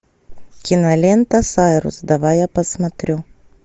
кинолента сайрус давай я посмотрю